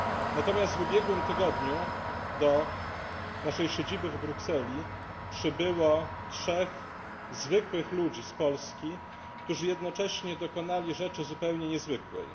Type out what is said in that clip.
Natomiast w ubiegłym tygodniu do naszej siedziby w Brukseli przybyło trzech zwykłych ludzi z Polski, którzy jednocześnie dokonali rzeczy zupełnie niezwykłej.